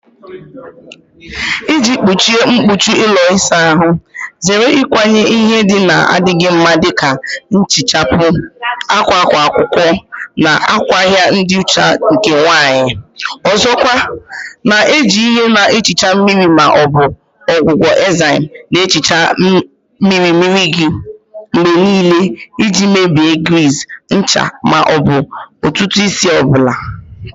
Iji gbochie mkpuchi ụlọ ịsa ahụ, zere ịkwanye ihe ndị na-adịghị mma dị ka nhichapụ, akwa akwa akwụkwọ, na ngwaahịa ịdị ọcha nke nwanyị. Ọzọkwa, na-eji ihe na-ehicha mmiri ma ọ bụ ọgwụgwọ enzyme na-ehicha mmiri mmiri gị mgbe niile iji mebie griiz, ncha, ma ọ bụ ntutu isi ọ bụla.